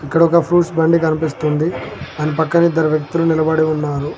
ఇక్కడ ఒక ఫ్రూట్స్ బండి కనిపిస్తుంది. దాని పక్కన ఇద్దరు వ్యక్తులు నిలబడి ఉన్నారు.